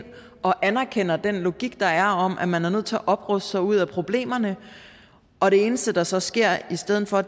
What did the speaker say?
og anerkender den logik der er om at man er nødt til at opruste sig ud af problemerne og det eneste der så sker i stedet for